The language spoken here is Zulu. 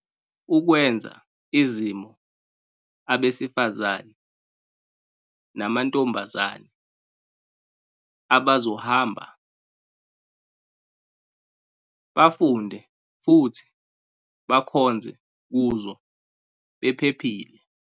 .ukwenza izimo abesifazane namantombazane abazohamba, bafunde futhi bakhonze kuzo bephephile.